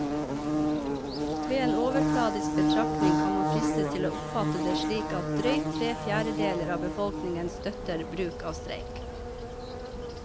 Ved en overfladisk betraktning kan man fristes til å oppfatte det slik at drøyt tre fjerdedeler av befolkningen støtter bruk av streik.